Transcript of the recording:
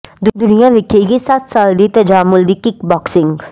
ਦੁਨੀਆਂ ਵੇਖੇਗੀ ਸੱਤ ਸਾਲ ਦੀ ਤਜਾਮੁਲ ਦੀ ਕਿੱਕ ਬਾਕਸਿੰਗ